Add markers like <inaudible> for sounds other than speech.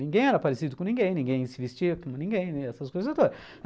Ninguém era parecido com ninguém, ninguém se vestia como ninguém, né, essas coisas. <unintelligible>